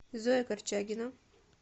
зоя корчагина